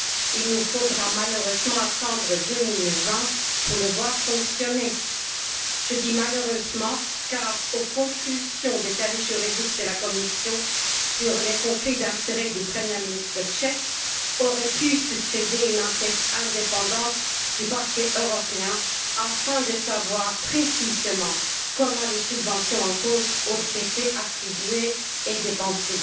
Il nous faudra malheureusement attendre 2020 pour le voir fonctionner. Je dis malheureusement car, aux conclusions des services juridiques de la Commission sur les conflits d'intérêts du premier ministre tchèque aurait pu succéder une enquête indépendante du Parquet européen, afin de savoir précisément comment les subventions en cause ont été attribuées et dépensées.